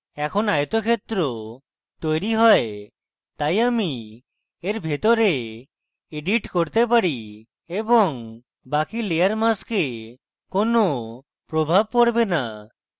এখন আয়তক্ষেত্র তৈরী হয় তাই আমি এর ভিতরে edit করতে পারি এবং বাকি layer mask কোনো প্রভাব পরবে now